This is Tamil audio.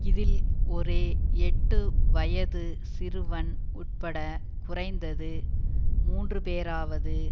இதில் ஒரு எட்டு வயதுச் சிறுவன் உட்பட குறைந்தது மூன்றுபேராவது